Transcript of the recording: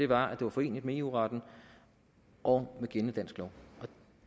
var at det var foreneligt med eu retten og med gældende dansk lov